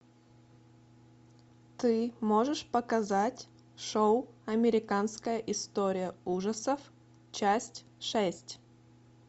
ты можешь показать шоу американская история ужасов часть шесть